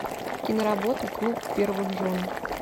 киноработа клуб первых жен